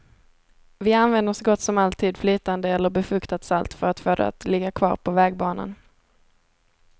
Vi använder så gott som alltid flytande eller befuktat salt, för att få det att ligga kvar på vägbanan.